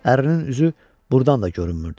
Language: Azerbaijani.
Ərinin üzü burdan da görünmürdü.